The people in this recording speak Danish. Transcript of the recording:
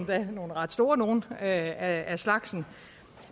nogle ret store nogle af af slagsen